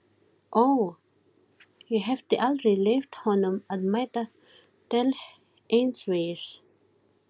Heit böð voru tvenns konar, heitar laugar og þurraböð.